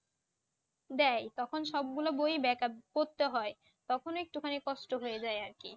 দেয় তখন সবগুলো বই Backup করতে হয় তখন একটুখানি কষ্ট হয়ে যায় আরকি